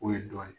O ye dɔ ye